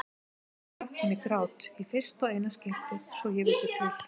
Þá hrökk hún í grát, í fyrsta og eina skiptið svo ég vissi til.